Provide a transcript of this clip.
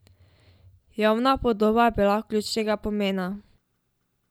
Javna podoba je bila ključnega pomena.